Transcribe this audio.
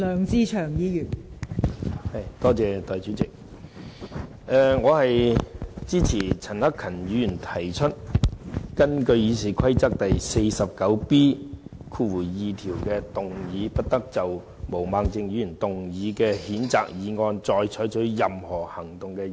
代理主席，我支持陳克勤議員提出根據《議事規則》第 49B 條，動議"不得就毛孟靜議員動議的譴責議案再採取任何行動"的議案。